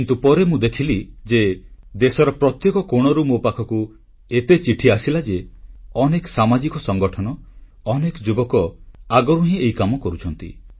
କିନ୍ତୁ ପରେ ମୁଁ ଦେଖିଲି ଯେ ଦେଶର ପ୍ରତ୍ୟେକ କୋଣରୁ ମୋ ପାଖକୁ ଏତେ ଚିଠି ଆସିଲା ଯେ ଅନେକ ସାମାଜିକ ସଂଗଠନ ଅନେକ ଯୁବକ ଆଗରୁ ହିଁ ଏହି କାମ କରୁଛନ୍ତି